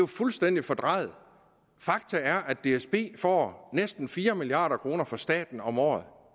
fuldstændig fordrejet faktum er at dsb får næsten fire milliard kroner fra staten om året